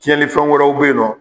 Tiɲɛlifɛn wɛrɛw be yen nɔ